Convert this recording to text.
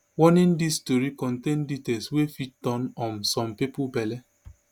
warning dis tori contain details wey fit turn um some pipu belle